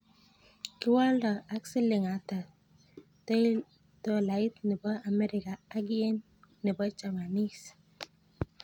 Kiwoldo ak siling ata tolait ne po Americaa ak yen ne po Japanese